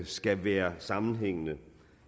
skal være sammenhængende